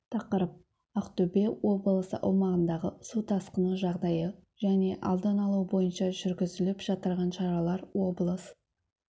тақырып ақтөбе облысы аумағындағы су тасқыны жағдайы және алдын алу бойынша жүргізіліп жатырған шаралар облыс